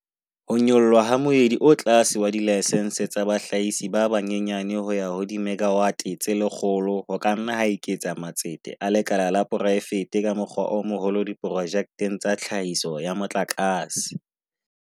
Ho nyollwa ha moedi o tlase wa dilaksense tsa bahlahisi ba banyenyane ho ya ho dimegawate tse 100 ho ka nna ha eketsa matsete a lekala la poraefete ka mokgwa o moholo diprojekteng tsa tlhahiso ya motlakase.